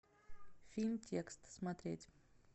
фильм текст смотреть